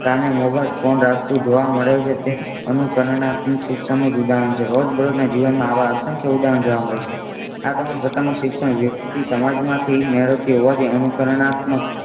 કાને mobile phone રાખતું જોવા મળે છે તે અનુકરણ આપ્યું છે ઉદાહરણ છે. રોજબરોજના જીવનમાં આવા અશાખ્ય ઉદાહરણ જોવા મળે છે. આ તમામ પ્રકારનું શિક્ષણ વ્યક્તિ સમાજ માંથી મેળવતી હોવાથી અનુકરણાત્મક